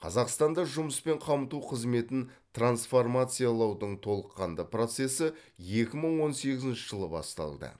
қазақстанда жұмыспен қамту қызметін трансформациялаудың толыққанды процесі екі мың он сегізінші жылы басталды